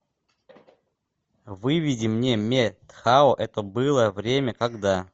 выведи мне ме тхао это было время когда